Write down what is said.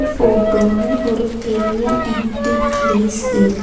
ஃட்டோல ஒரு பெரிய empty place இருக்--